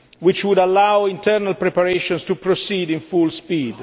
break. This would allow internal preparations to proceed at full